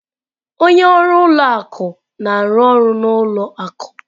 Onye ọrụ ụlọ akụ na-arụ ọrụ n'ụlọ akụ.